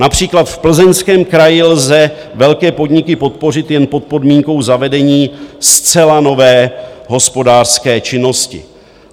Například v Plzeňském kraji lze velké podniky podpořit jen pod podmínkou zavedení zcela nové hospodářské činnosti.